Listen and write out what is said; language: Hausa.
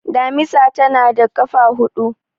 damisa tana da kafa hudu